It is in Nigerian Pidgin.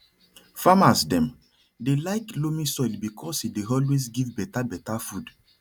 farmers dem dey like loamy soil because e dey always give better better food